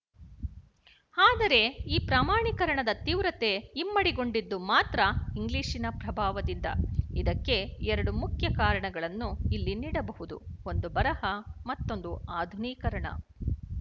ಆದರೆ ಈ ಪ್ರಮಾಣೀಕರಣದ ತೀವ್ರತೆ ಇಮ್ಮಡಿಗೊಂಡಿದ್ದು ಮಾತ್ರ ಇಂಗ್ಲಿಶಿನ ಪ್ರಭಾವದಿಂದ ಇದಕ್ಕೆ ಎರಡು ಮುಖ್ಯ ಕಾರಣಗಳನ್ನು ಇಲ್ಲಿ ನೀಡಬಹುದು ಒಂದು ಬರಹ ಮತ್ತೊಂದು ಆಧುನೀಕರಣ